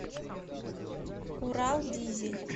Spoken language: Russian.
урал дизель